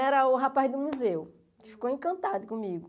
Era o rapaz do museu, que ficou encantado comigo.